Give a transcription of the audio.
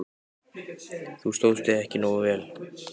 Þú stóðst þig ekki nógu vel.